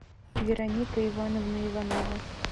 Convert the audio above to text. вероника ивановна иванова